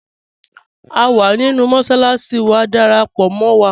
À wà nínu mọ́ṣaláṣi, wà dáràpọ̀ mọ́ wa